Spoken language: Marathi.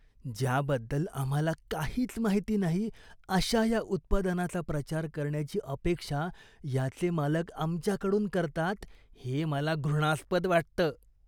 ज्याबद्दल आम्हाला काहीच माहिती नाही अशा या उत्पादनाचा प्रचार करण्याची अपेक्षा याचे मालक आमच्याकडून करतात हे मला घृणास्पद वाटतं.